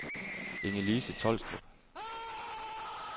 Inge-Lise Tolstrup